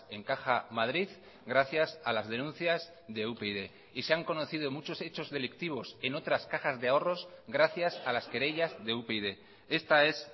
en caja madrid gracias a las denuncias de upyd y se han conocido muchos hechos delictivos en otras cajas de ahorros gracias a las querellas de upyd esta es